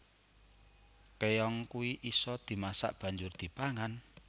Keong kui iso dimasak banjur dipangan